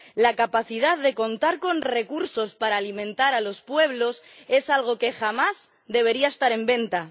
La capacidad de contar con recursos para alimentar a los pueblos es algo que jamás debería estar en venta.